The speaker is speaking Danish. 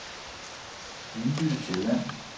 Viby Sjælland